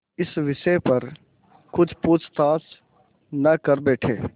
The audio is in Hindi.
इस विषय पर कुछ पूछताछ न कर बैठें